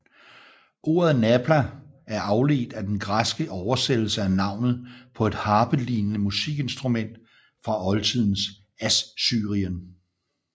Ordet nabla er afledt af den græske oversættelse af navnet på et harpelignende musikinstrument fra oldtidens Assyrien